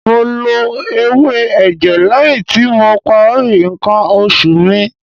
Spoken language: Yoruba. Mo lo ewé ẹ̀jẹ̀ lẹ́yìn tí mo parí ǹkan oṣù mi.